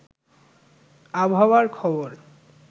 আবহাওয়ার খবর